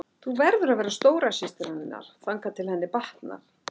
Þú verður að vera stóra systir hennar þangað til henni batnar.